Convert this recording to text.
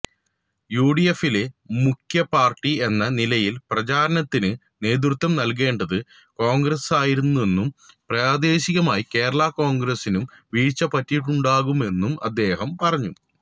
യുഡിഎഫിലെ മുഖ്യപാര്ട്ടി എന്ന നിലയില് പ്രചാരണത്തിന് നേൃതൃത്വം നല്കേണ്ടത് കോണ്ഗ്രസായിരുന്നെന്നും പ്രദേശികമായി കേരളാ കോണ്ഗ്രസിനും വീഴ്ച്ച പറ്റിയിട്ടുണ്ടാകാമെന്നും അദ്ദേഹം പറഞ്ഞു